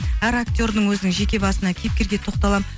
әр актердің өзінің жеке басына кейіпкерге тоқталамын